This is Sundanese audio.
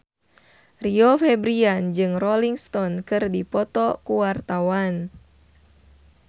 Rio Febrian jeung Rolling Stone keur dipoto ku wartawan